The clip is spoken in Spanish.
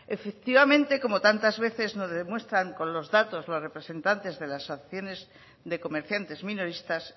efectivamente como tantas veces nos demuestran con los datos los representantes de las asociaciones de comerciantes minoristas